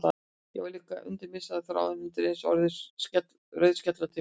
En varð að líta undan, missti þráðinn, undireins orðin rauðskellótt í framan.